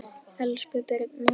Elsku Birna